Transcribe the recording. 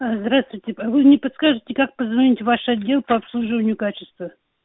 а здравствуйте а вы не подскажете как позвонить в ваш отдел по обслуживанию качества